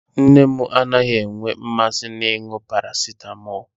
Nne m anaghị enwe mmasị n'ịṅụ parasịtamọlụ.